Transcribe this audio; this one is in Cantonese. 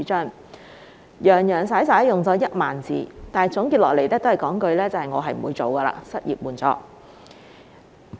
他洋洋灑灑用了1萬字，但結論仍是不會推出失業援助。